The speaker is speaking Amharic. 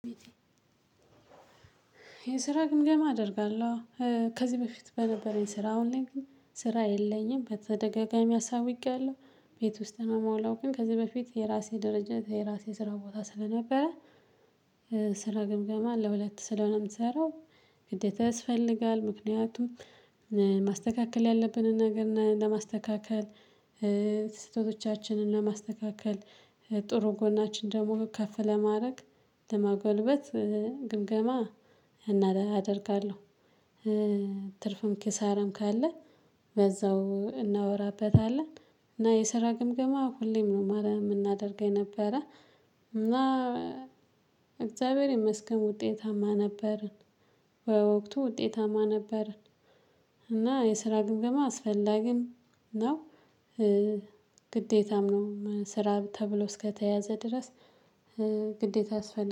የስራ ግምገማ አደርጋለሁ። ከዚህ በፊት በነበረኝ ስራ አሁን ላይ ስራ የለኝም። በተደጋጋሚ አሳውቄያለሁ ቤት ውስጥ ነው የምውላው። ግን ከዚህ በፊት የራሴ ድርጅት የራሴ ስራ ቦታ ስለነበረ። ስራ ግምገማ ለሁለት ስለሆነ የምትሰራው ግዴታ ያስፈልጋል ምክንያቱም ማስተካከል ያለብንን ነገር ለማስተካለል። ስህተቶቻችንንም ለማስተካከል። ጥሩ ጎናችን ደግሞ ከፍ ለማድረግ ለማጎልበት። አደርጋለሁ። ትርፍም ኪሳርም ካለ በዛው እናወራበታለን። እና የስራ ግምገማ ሁሌም ነው ማረ የምናደርገው ነበረ። እግዚአብሔር ይመስገን ውጤታማ ነበርን። በወቅቱ ውጤታማ ነበረን። እና የስራ ግምገማ አስፈላጊም ነው። ግዴታም ነው ስራ ተብሎ እስከተያዘ ድረስ ግዴታ አስፈላጊ